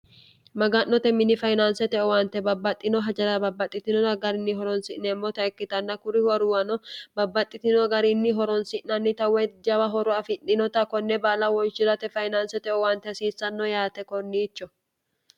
maga'note mini fayinaansete owaante babbaxxino hajara babbaxxitinona garinni horonsi'neemmota ikkitanna kuri huwaruwano babbaxxitino garinni horonsi'nannita we jawa horo afidhinota konne baala wonshirate fayinaansete owante hasiissanno yaate korniicho